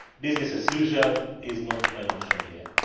Business as usual is not an option here.